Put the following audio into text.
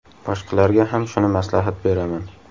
Boshqalarga ham shuni maslahat beraman.